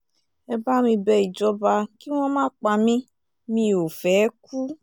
ẹ bá mi bẹ ìjọba kí wọ́n má pa mí mi ò fẹ́ẹ́ kú